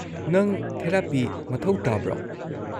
ꯅꯪ ꯊꯦꯔꯥꯄꯤ ꯃꯊꯧ ꯇꯥꯕ꯭ꯔꯣ?